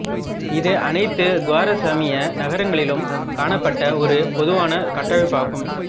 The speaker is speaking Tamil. இது அனைத்து குவாரசமிய நகரங்களிலும் காணப்பட்ட ஒரு பொதுவான கட்டமைப்பாகும்